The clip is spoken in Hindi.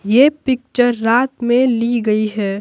ये पिक्चर रात में ली गई है।